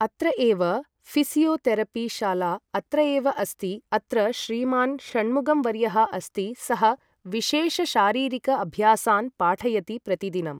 अत्र एव physiotherapy शाला अत्र एव अस्ति अत्र श्रीमान् षण्मुखं वर्यः अस्ति सः विशेषशारीरिक अभ्यासान् पाठयति प्रतिदिनं